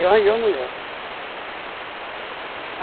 Eu arranjei uma mulher.